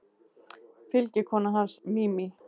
Fylgikona hans, Mimi